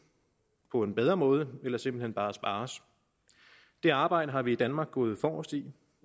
på en bedre måde eller simpelt hen bare spares det arbejde har vi i danmark gået forrest i